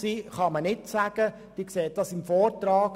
Sie ersehen diese aus dem Vortrag.